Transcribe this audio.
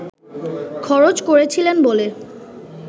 খরচ করেছিলেন বলে